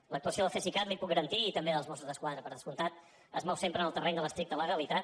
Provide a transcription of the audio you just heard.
l’actuació del cesicat li ho puc garantir i també dels mossos d’esquadra per descomptat es mou sempre en el terreny de l’estricta legalitat